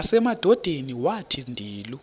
nasemadodeni wathi ndilu